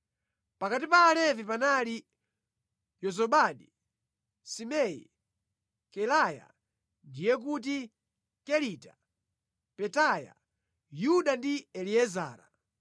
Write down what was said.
Pakati pa Alevi panali: Yozabadi, Simei, Kelaya (ndiye kuti, Kelita). Petaya, Yuda ndi Eliezara.